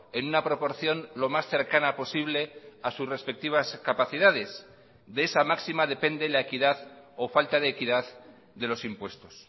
en una proporción lo más cercana posible a sus respectivas capacidades de esa máxima depende la equidad o falta de equidad de los impuestos